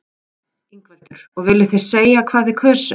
Ingveldur: Og viljið þið segja hvað þið kusuð?